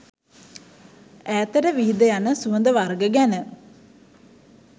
ඈතට විහිද යන සුවඳ වර්ග ගැන